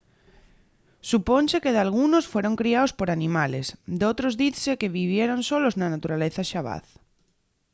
supónse que dalgunos fueron criaos por animales; d’otros dizse que vivieron solos na naturaleza xabaz